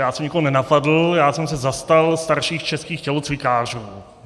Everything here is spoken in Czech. Já jsem nikoho nenapadl, já jsem se zastal starších českých tělocvikářů.